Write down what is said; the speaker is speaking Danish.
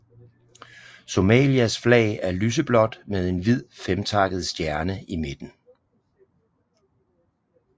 Somalias flag er lyseblåt med en hvid femtakket stjerne i midten